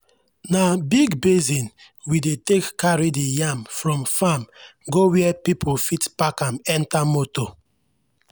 na big basin we dey take carry the yam from farm go where people fit pack am enter motor.